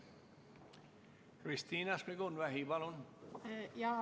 Kristina Šmigun-Vähi, palun!